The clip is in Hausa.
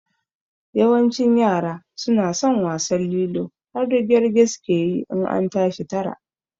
Yawancin yaran suna son wasan lilo har rige-rige suke yi in an tashi tara